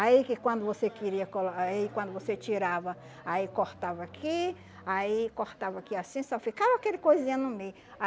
Aí que quando você queria colo ah e quando você tirava, aí cortava aqui, aí cortava aqui assim, só ficava aquele coisinha no meio.